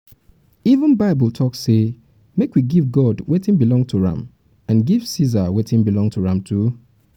even bible bible talk say make we give god wetin belong to am and give ceasar wetin belong to am too